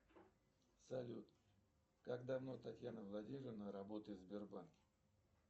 салют как давно татьяна владимировна работает в сбербанке